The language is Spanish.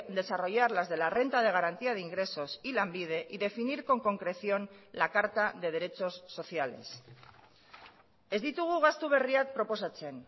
desarrollar las de la renta de garantía de ingresos y lanbide y definir con concreción la carta de derechos sociales ez ditugu gastu berriak proposatzen